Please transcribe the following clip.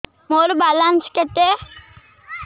ମୋର ବାଲାନ୍ସ କେତେ